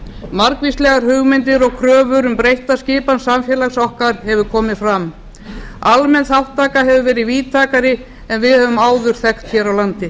margvíslegar hugmyndir og kröfur um breytta skipan samfélags okkar hafa komið fram almenn þátttaka hefur verið víðtækari en við höfum áður þekkt hér á landi